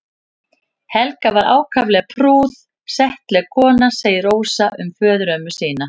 Helga var ákaflega prúð og settleg kona segir Rósa um föðurömmu sína.